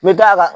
N bɛ da a kan